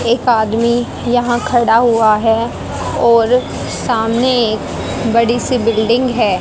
एक आदमी यहां खड़ा हुआ है और सामने एक बड़ी सी बिल्डिंग है।